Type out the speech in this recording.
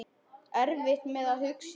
Erfitt með að hugsa.